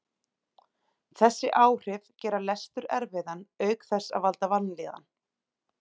Þessi áhrif gera lestur erfiðan auk þess að valda vanlíðan.